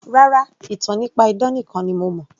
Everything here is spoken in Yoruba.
Rárá, ìtàn nípa idán nìkan ni mo